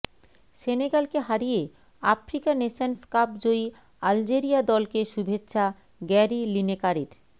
সেনেগালকে হারিয়ে Africa Nations Cup জয়ী Algeria দলকে শুভেচ্ছা গ্যারি লিনেকারের